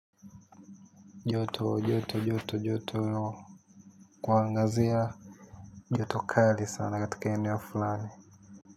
Joto, joto, joto, joto. Kwa Angazia Joto Kali sana katika eneo fulani.